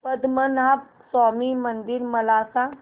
पद्मनाभ स्वामी मंदिर मला सांग